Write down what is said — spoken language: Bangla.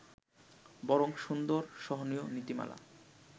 বরং সুন্দর-সহনীয় নীতিমালা